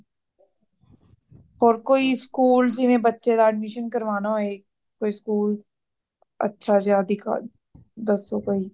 ਹੋਰ ਕੋਈ school ਜਿਵੇ ਬੱਚੇ ਦਾ admission ਕਰਵਾਣਾ ਹੋਏ |ਕੋਈ school ਅੱਛਾ ਜਿਯਾ ਦਿਖਾ ਦੱਸੋ ਕੋਈ